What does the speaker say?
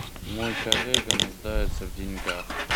мой коллега нуждается в деньгах